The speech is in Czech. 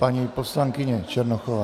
Paní poslankyně Černochová.